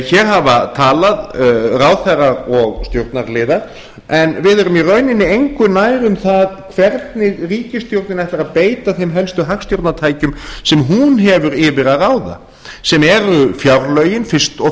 hér hafa talað ráðherrar og stjórnarliðar en við erum í rauninni engu nær um það hvernig ríkisstjórnin ætlar að beita þeim helstu hagstjórnartækjum sem hún hefur yfir að ráða sem eru fjárlögin fyrst og